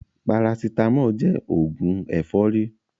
Parasitámọ̀ jẹ́ òògùn ẹ̀fọ́rí.